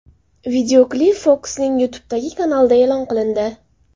Videoklip Fox’ning YouTube’dagi kanalida e’lon qilindi.